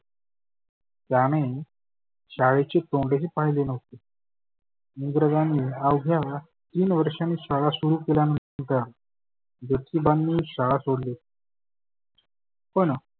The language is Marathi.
त्याने शाळेचे तोंडही पाहीले नव्हते. इंग्रजांनी आवघ्या तीन वर्षांनी शाळा सुरु केल्या नंतर ज्योतीबांनी शाळा सोडली पण